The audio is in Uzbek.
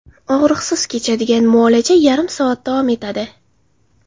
Og‘riqsiz kechadigan muolaja yarim soat davom etadi.